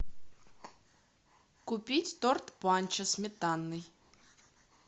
купить торт панчо сметанный